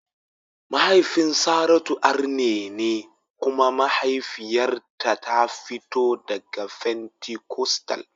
Mahaifin Saratu arne ne kuma mahaifiyarta ta fito daga fentikostal.